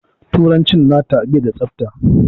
Turanci nata bai da tsafta.